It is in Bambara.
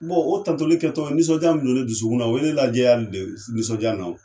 Bon o tantɔlikɛtɔ nisɔnja min kun be ne dusukun na o ye ne lajɛyali de ye nisɔnja ni na o